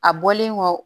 A bɔlen kɔ